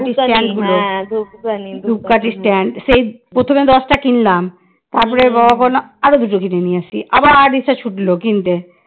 প্রথমে দশটা কিনলাম তারপর তোর বাবা বললো আরো দুটো কিনে নিয়ে আসি তারপর আবার এসে ছুটলো কিনতে